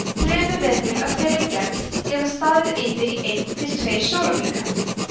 þrumuveður af þeirri gerð geta staðið yfir í einn til tveir sólarhringa